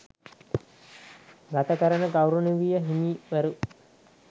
ගතකරන ගෞරවනීය හිමිවරු